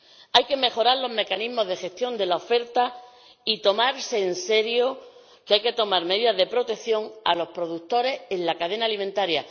Hay que mejorar los mecanismos de gestión de la oferta y tomarse en serio que hay que tomar medidas de protección destinadas a los productores en la cadena alimentaria.